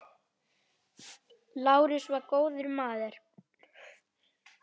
Lárus var góður maður.